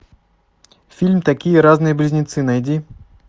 фильм такие разные близнецы найди